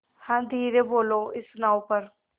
हाँ धीरे बोलो इस नाव पर